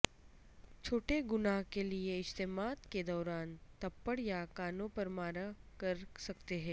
چھوٹے گناہ کے لئے اجتماعات کے دوران تپپڑ یا کانوں پر مارا کر سکتے ہیں